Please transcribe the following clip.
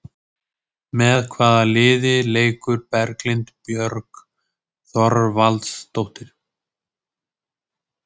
Með hvaða liði leikur Berglind Björg Þorvaldsdóttir?